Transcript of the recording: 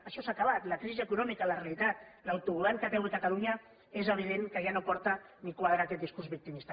això s’ha acabat la crisi econòmica la realitat l’autogovern que té avui catalunya és evident que ja no porta ni quadra aquest discurs victimista